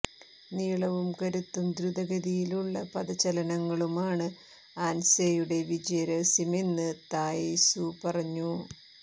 നീളവും കരുത്തും ദ്രുതഗതിയിലുള്ള പദചലനങ്ങളുമാണ് ആന് സെയുടെ വിജയരഹസ്യമെന്ന് തായ് സു പറഞ്ഞു